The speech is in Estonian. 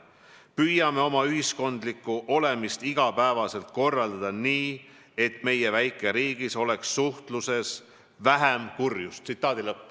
Püüame oma ühiskondlikku olemist igapäevaselt korraldada nii, et meie väikeriigis oleks suhtluses vähem kurjust.